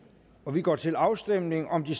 og vi går til afstemning om de